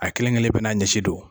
A kelen kelen bɛ n'a ɲɛsi don